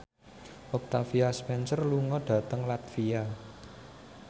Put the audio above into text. Octavia Spencer lunga dhateng latvia